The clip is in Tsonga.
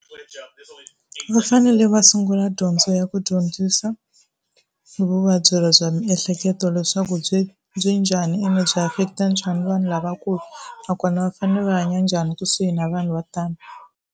Va fanele va sungula dyondzo ya ku dyondzisa hi vuvabyi bya miehleketo leswaku byi byi njhani ende byi affect-a njhani vanhu lavakulu, nakona va fanele va hanya njhani kusuhi na vanhu vo tani.